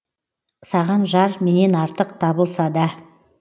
саған жар менен артық табылса да